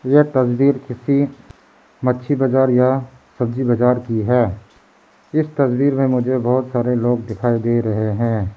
यह तस्वीर किसी मच्छी बाजार या सब्जी बाजार की है इस तस्वीर में मुझे बहोत सारे लोग दिखाई दे रहे हैं।